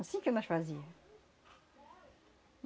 Assim que nós fazia.